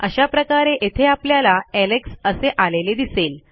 अशा प्रकारे येथे आपल्याला एलेक्स असे आलेले दिसेल